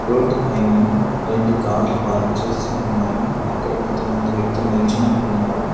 Road పైన రెండు కార్లు పార్క్ చేసి ఉన్నాయి అక్కడ కొంతమంది వ్యక్తులు నిల్చొని ఉన్నారు.